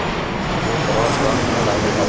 bu biroz vaqt talab etadi.